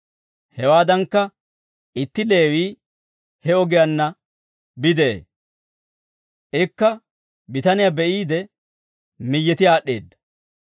Hewaadankka itti Leewii he ogiyaanna bide'ee. Ikka bitaniyaa be'iide, miyyeti aad'd'eedda.